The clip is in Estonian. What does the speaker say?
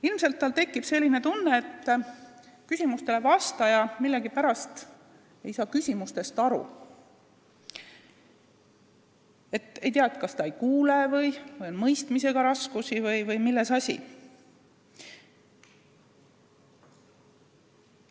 Ilmselt tekib tal selline tunne, et küsimustele vastaja ei saa millegipärast küsimustest aru: ei tea, kas ta ei kuule või on tal mõistmisega raskusi või milles asi.